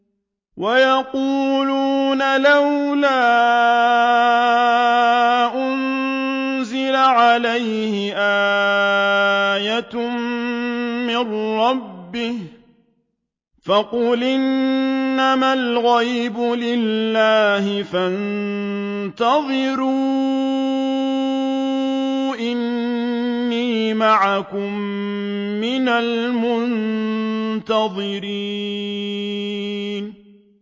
وَيَقُولُونَ لَوْلَا أُنزِلَ عَلَيْهِ آيَةٌ مِّن رَّبِّهِ ۖ فَقُلْ إِنَّمَا الْغَيْبُ لِلَّهِ فَانتَظِرُوا إِنِّي مَعَكُم مِّنَ الْمُنتَظِرِينَ